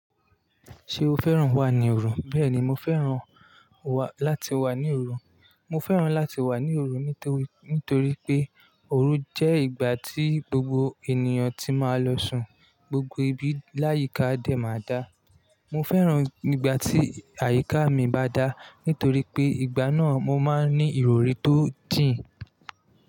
Ṣé o fẹ́ràn wà ní òru? Bẹ́ẹ̀ni, mo fẹ́ràn wà láti wà ní òru. Mo fẹ́ràn láti wà ní òru nítorí pé òru jẹ́ ìgbà tí gbogbo ènìyàn tí máa lọ sùn, gbogbo ibi láyíká dé máa dá. Mo fẹ́ràn ìgbà tí àyíká mi bá dá nítorí pé ìgbà náà mo máa ń ní ìrọ̀rí tó jìn.